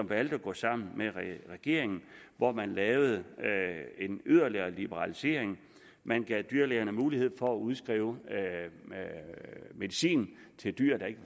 valgte at gå sammen med regeringen hvor man lavede en yderligere liberalisering man gav dyrlægerne mulighed for at udskrive medicin til dyr der ikke